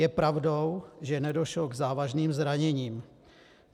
Je pravdou, že nedošlo k závažným zraněním.